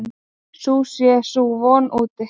Sú sé sú von úti.